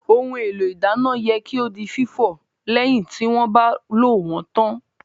Ohun èlò ìdáná yẹ kí ó di fífọ̀ lẹ́yìn tí wọ́n bá lò wón tán